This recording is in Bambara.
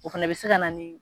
O fana bɛ se ka na ni